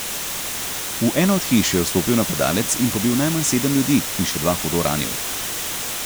V eno od hiš je vstopil napadalec in pobil najmanj sedem ljudi in še dva hudo ranil.